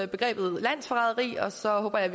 begrebet landsforræderi og så håber jeg